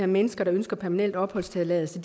mennesker der ønsker permanent opholdstilladelse